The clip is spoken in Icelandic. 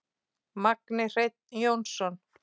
Magni Hreinn Jónsson